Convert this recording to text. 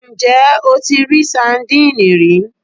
Ǹjẹ́ o ti rí sandínì rí